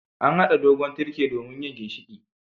An hada dogon tirke domin yin ginshiƙi.